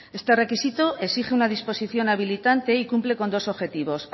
este requisito exige una disposición habilitante y cumple con dos objetivos